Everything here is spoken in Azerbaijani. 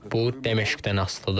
Bu Dəməşqdən asılıdır.